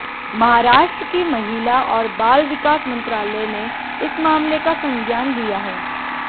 महाराष्ट्र के महिला और बाल विकास मंत्रालय ने इस मामले का संज्ञान लिया है